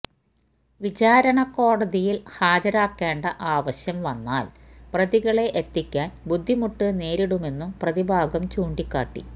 വിചാരണ കോടതിയില് ഹാജരാക്കേണ്ട ആവശ്യം വന്നാല് പ്രതികളെ എത്തിക്കാന് ബുദ്ധിമുട്ട് നേരിടുമെന്നും പ്രതിഭാഗം ചൂണ്ടിക്കാട്ടി